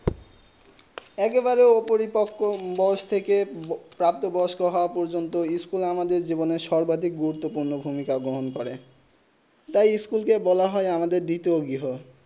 এক বারিঅপরিপকম বয়েস থেকে প্রবত বিশেষ হোৱা প্রজন্ত স্কুল আমাদের সর্বাধিক গুরুতবপূর্ণ ভূমিকা গ্রহণ করে তাই স্কুল কে বলা হয়ে আমাদের দ্বিতীয় গৃহ